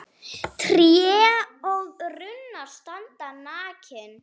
Tré og runnar standa nakin.